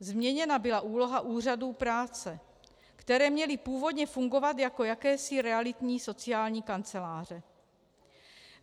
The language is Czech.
Změněna byla úloha úřadů práce, které měly původně fungovat jako jakési realitní sociální kanceláře.